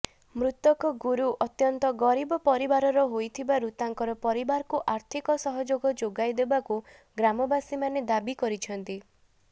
ମୃତକ ଗୁରୁ ଅତ୍ୟନ୍ତ ଗରିବ ପରିବାରର ହୋଇଥିବାରୁ ତାଙ୍କର ପରିବାରକୁ ଆର୍ଥିକ ସହଯୋଗ ଯୋଗାଇଦେବାକୁ ଗ୍ରାମାବସୀମାନେ ଦାବି କରିଛନ୍ତି